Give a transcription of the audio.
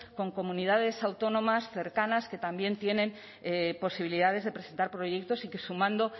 con comunidades autónomas cercanas que también tienen posibilidades de presentar proyectos y que sumando